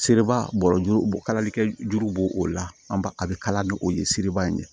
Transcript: Seliba bɔ kalali kɛ juru b'o o la an b'a a bɛ kala ni o ye seriba in de